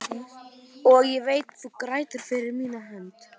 Og ég veit þú grætur fyrir mína hönd.